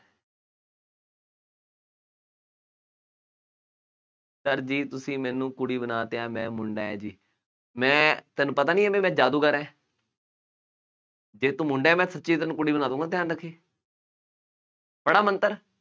Sir ji ਤੁਸੀਂ ਮੈਨੂੰ ਕੁੜੀ ਬਣਾਤਾ, ਮੈਂ ਮੁੰਡਾ ਹਾਂ ਜੀ, ਮੈਂ ਤੈਨੂੰ ਪਤਾ ਨਹੀਂ ਹੈ, ਬਈ ਮੈਂ ਜਾਦੂਗਰ ਹਾਂ, ਜੇ ਤੂੰ ਮੁੰਡਾ ਹੈ ਮੈਂ ਸੱਚੀ ਤੈਨੂੰ ਕੁੜੀ ਬਣਾ ਦੇ ਦੇਊਗਾ, ਧਿਆਨ ਰੱਖੀਂ ਪੜ੍ਹਾ ਮੰਤਰ,